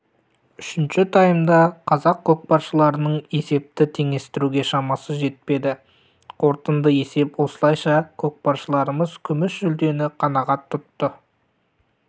үшінші таймда қазақ көкпаршыларының есепті теңестіруге шамасы жетпеді қорытынды есеп осылайша көкпаршыларымыз күміс жүлдені қанағат тұтты